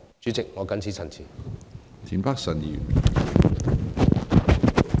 主席，我謹此陳辭。